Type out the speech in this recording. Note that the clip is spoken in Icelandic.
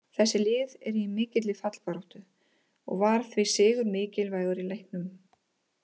Þessi lið eru í mikilli fallbaráttu og var því sigur mikilvægur í leiknum.